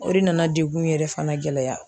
O de nana degun in yɛrɛ fana gɛlɛya.